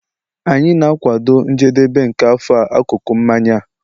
anyị ga-akwado njedebe nke afọ a akụkụ na mmanya a